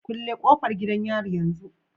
Kulle kofar gidan yari yanzu